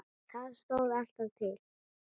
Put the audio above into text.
Það stóð alltaf til.